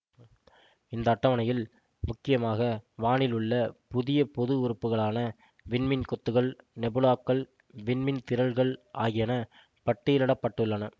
இந்த அட்டவணையில் முக்கியமாக வானில் உள்ள புதிய பொது உறுப்புகளான விண்மீன் கொத்துகள் நெபுலாக்கள் விண்மீன் திறள்கள் ஆகியன பட்டியலிட பட்டுள்ளன